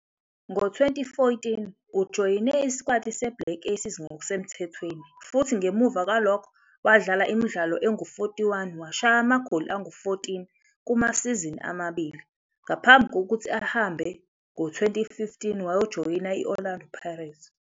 Ngo-2014, ujoyine isikwati seBlack Aces ngokusemthethweni futhi ngemuva kwalokho wadlala imidlalo engu-41 washaya amagoli angu-14 kumasizini amabili ngaphambi kokuthi ahambe ngo-2015 wajoyina i-Orlando Pirates.